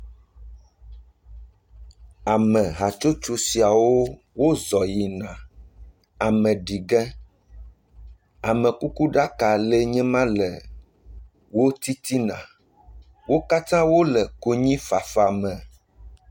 Ame hatsotso siawo o zɔ yi na ameɖi ge, amekuku ɖaka le nye ma le wo titina, wo kata wole konyifafa me.